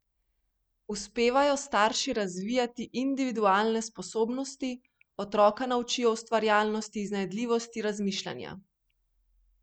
Uspevajo starši razvijati individualne sposobnosti, otroka naučijo ustvarjalnosti, iznajdljivosti, razmišljanja?